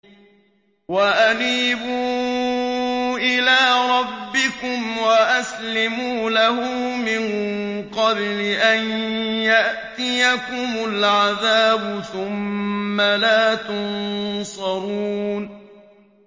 وَأَنِيبُوا إِلَىٰ رَبِّكُمْ وَأَسْلِمُوا لَهُ مِن قَبْلِ أَن يَأْتِيَكُمُ الْعَذَابُ ثُمَّ لَا تُنصَرُونَ